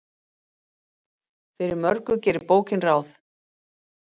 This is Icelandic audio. Fyrir mörgu gerir bókin ráð.